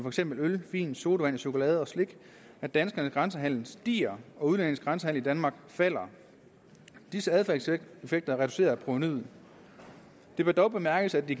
eksempel øl vin sodavand chokolade og slik at danskernes grænsehandel stiger og udlændinges grænsehandel i danmark falder disse adfærdseffekter reducerer provenuet det bør dog bemærkes at de